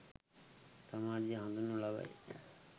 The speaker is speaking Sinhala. සමාජයේ හඳුන්වනු ලබයි